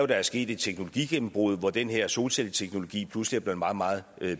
der er sket et teknologigennembrud hvor den her solcelleteknologi pludselig er blevet meget meget